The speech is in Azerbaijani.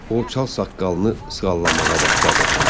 O çal saqqalını sığallamağa başladı.